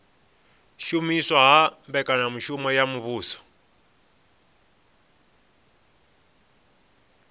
shumiswa ha mbekanyamitele ya muvhuso